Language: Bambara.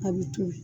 A bɛ toli